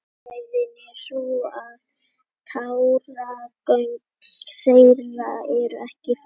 Ástæðan er sú að táragöng þeirra eru ekki fullmynduð.